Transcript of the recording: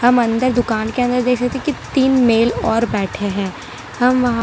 हम अंदर दुकान के अंदर देखे सकते है की तीन मेल और बैठे हैं हम वहा--